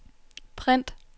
print